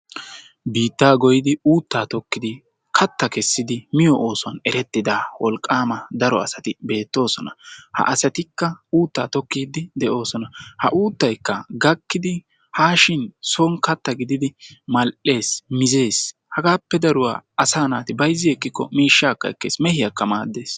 Biitta goyiddi uutta tokkiddi kaatta kessiddi miyoo oosuwaan erettidda wolqqama daro adatti beettosona. Ha asattikka uutta tokiddi de'ossona. Ha uttaykka gakkiddi haashshin sooni kaatta gididdi mal'ees, mizees hagappe daruwaa asa nastti bayizi ekikko mishshakka ekkes, mehiyakka maaddes.